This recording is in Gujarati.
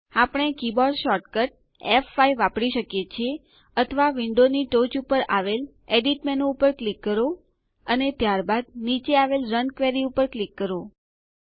આપણે કીબોર્ડ શોર્ટકટ ફ5 વાપરી શકીએ છીએ અથવા વિન્ડોની ટોચ ઉપર આવેલ એડિટ મેનુ ઉપર ક્લિક કરો અને ત્યારબાદ નીચે આવેલ રન ક્વેરી ઉપર ક્લિક કરો